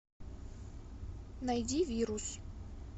найди вирус